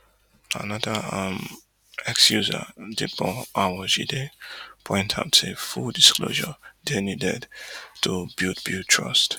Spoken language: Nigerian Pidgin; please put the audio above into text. anoda um x user dipo awojide point out say full disclosure dey needed to build build trust